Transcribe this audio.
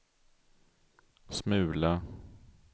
smula